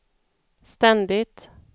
ständigt